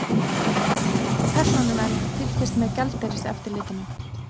Persónuvernd fylgist með gjaldeyriseftirlitinu